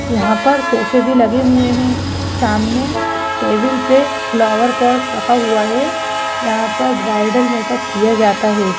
यहां पर सोफ़े भी लगे हुए हैं सामने टेबल पे फ्लावर पॉट रखा हुआ है यहां पर ब्राइडल मेकअप किया जाता है।